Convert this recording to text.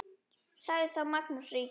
Sagði þá Magnús ríki